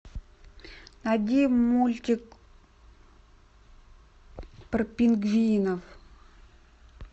найди мультик про пингвинов